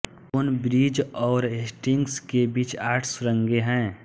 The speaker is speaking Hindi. टोनब्रिज और हेस्टिंग्स के बीच आठ सुरंगें हैं